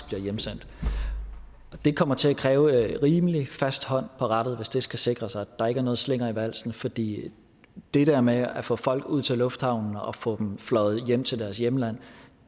bliver hjemsendt det kommer til at kræve en rimelig fast hånd på rattet hvis det skal sikres at der ikke er nogen slinger i valsen fordi det der med at få folk ud til lufthavnen og få dem fløjet hjem til deres hjemland